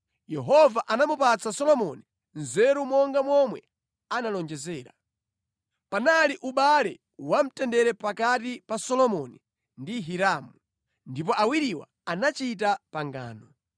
Yehova anamupatsa Solomoni nzeru monga momwe analonjezera. Panali ubale wa mtendere pakati pa Solomoni ndi Hiramu, ndipo awiriwa anachita pangano.